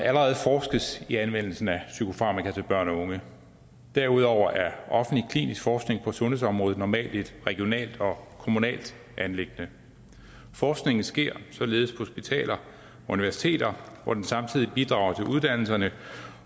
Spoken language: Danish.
allerede forskes i anvendelsen af psykofarmaka til børn og unge derudover er offentlig klinisk forskning på sundhedsområdet normalt et regionalt og kommunalt anliggende forskningen sker således på hospitaler og universiteter hvor den samtidig bidrager til uddannelserne